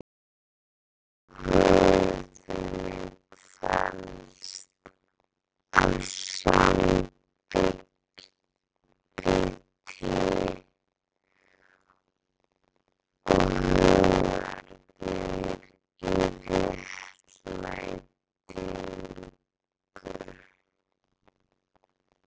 Og hugur þinn kvelst af samviskubiti og hungrar í réttlætingu.